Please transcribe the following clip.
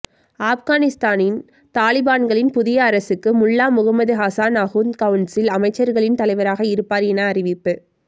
ஆப்கானிஸ்தானின் தலிபான்களின் புதிய அரசுக்கு முல்லா முகமது ஹசன் அகுந்த் கவுன்சில் அமைச்சர்களின் தலைவராக இருப்பார் என அறிவிப்பு